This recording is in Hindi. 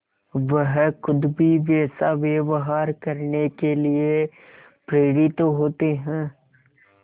वह खुद भी वैसा व्यवहार करने के लिए प्रेरित होते हैं